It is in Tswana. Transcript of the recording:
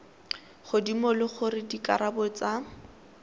godimo le gore dikarabo tsa